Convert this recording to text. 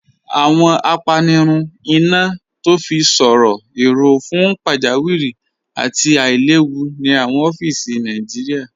Awọn àpànirùn iná tó fi sọ̀rọ̀ èró̀ fún pàjàwìrí àti àìlẹ̀wù ni awọn ọfíìsì Nàìjíríà.